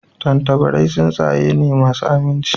Tattabarai tsuntsaye ne masu aminci